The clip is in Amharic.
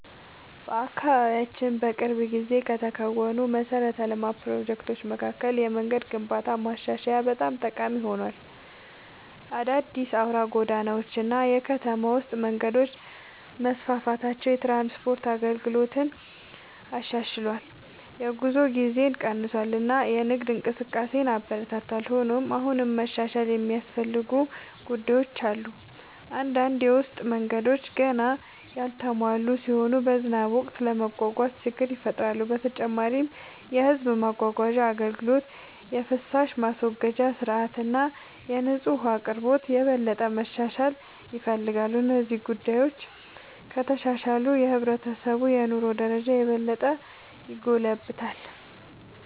በአካባቢያችን በቅርብ ጊዜ ከተከናወኑ የመሠረተ ልማት ፕሮጀክቶች መካከል የመንገድ ግንባታና ማሻሻያ በጣም ጠቃሚ ሆኗል። አዳዲስ አውራ ጎዳናዎች እና የከተማ ውስጥ መንገዶች መስፋፋታቸው የትራንስፖርት አገልግሎትን አሻሽሏል፣ የጉዞ ጊዜን ቀንሷል እና የንግድ እንቅስቃሴን አበረታቷል። ሆኖም አሁንም መሻሻል የሚያስፈልጉ ጉዳዮች አሉ። አንዳንድ የውስጥ መንገዶች ገና ያልተሟሉ ሲሆኑ በዝናብ ወቅት ለመጓጓዝ ችግር ይፈጥራሉ። በተጨማሪም የሕዝብ ማጓጓዣ አገልግሎት፣ የፍሳሽ ማስወገጃ ሥርዓት እና የንጹህ ውኃ አቅርቦት የበለጠ መሻሻል ይፈልጋሉ። እነዚህ ጉዳዮች ከተሻሻሉ የሕብረተሰቡ የኑሮ ደረጃ የበለጠ ይጎለብታል።